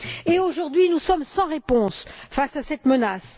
Et aujourd'hui, nous sommes sans réponse face à cette menace.